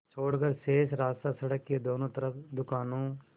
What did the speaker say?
छोड़कर शेष रास्ता सड़क के दोनों तरफ़ दुकानों